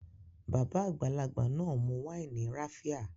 Babà àgbàlagbà náà mu wáìnì raffia